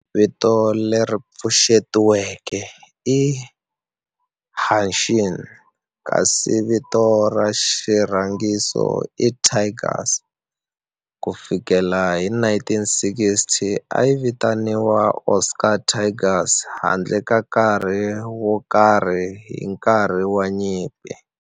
Vito leri pfuxetiweke i"Hanshin" kasi vito ra xirhangiso i"Tigers". Ku fikela hi 1960, a yi vitaniwa Osaka Tigers handle ka nkarhi wo karhi hi nkarhi wa nyimpi.